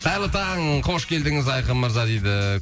қайырлы таң қош келдіңіз айқын мырза дейді